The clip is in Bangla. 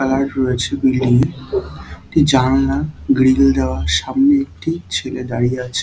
কালার রয়েছে বিল্ডিং -এ। একটি জানলা গিরিল দেওয়া সামনে একটি ছেলে দাঁড়িয়ে আছে।